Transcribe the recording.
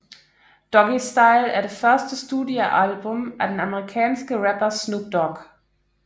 Doggystyle er det første studiealbum af den amerikanske rapper Snoop Dogg